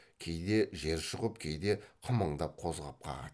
кейде жер шұқып кейде қымыңдап қозғақ қағады